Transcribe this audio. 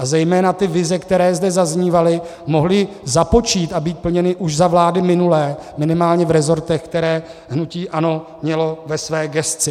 A zejména ty vize, které zde zaznívaly, mohly započít a být plněny už za vlády minulé, minimálně v resortech, které hnutí ANO mělo ve své gesci.